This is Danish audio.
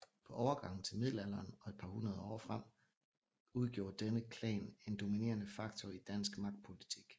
På overgangen til middelalderen og et par århundreder frem udgjorde denne klan en dominerende faktor i dansk magtpolitik